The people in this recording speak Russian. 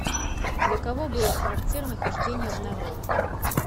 для кого было характерно хождение в народ